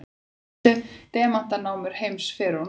helstu demantanámur heims fyrr og nú